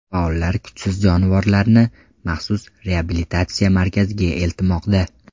Faollar kuchsiz jonivorlarni maxsus reabilitatsiya markaziga eltmoqda.